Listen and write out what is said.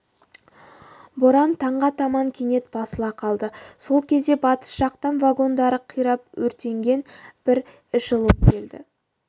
боран таңға таман кенет басыла қалды сол кезде батыс жақтан вагондары қирап өртенген бір эшелон келді